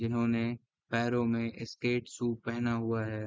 इन्होने पैरो में स्केट सू पहना हुआ है।